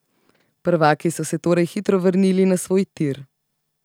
Prvaki so se torej hitro vrnili na svoj tir.